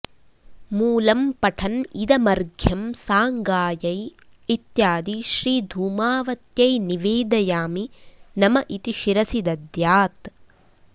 मूलम्पठन् इदमर्घ्यं साङ्गायै इत्यादि श्रीधूमावत्यै निवेदयामि नम इति शिरसि दद्यात्